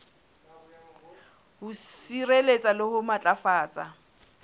ho sireletsa le ho matlafatsa